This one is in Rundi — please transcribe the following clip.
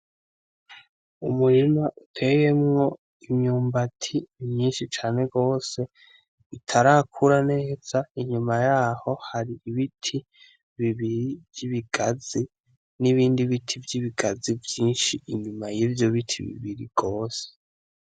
Umurima uteyemwo imyumbati imyinshi cane rwose itarakura neza inyuma yaho hari ibiti bibiri vy'ibigazi n'ibindi biti vy'ibigazi vyinshi inyuma y'ivyo biti bibiri rwose.